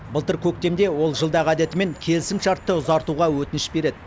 былтыр көктемде ол жылдағы әдетімен келісімшартты ұзартуға өтініш береді